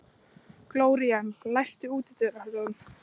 Gloría, læstu útidyrunum.